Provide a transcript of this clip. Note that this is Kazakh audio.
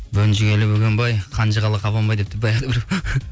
бөнжігелі бөгенбай қанжығалы қабанбай депті баяғыда біреу